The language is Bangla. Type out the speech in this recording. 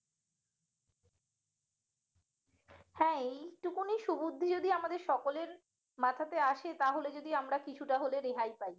হ্যাঁ এইটুকুনই সুবুদ্ধি যদি আমাদের সকলের মাথাতে আসে তাহলে যদি আমরা কিছুটা হলে রেহাই পাই